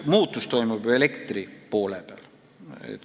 Muudatus toimub ju elektri tootjatele.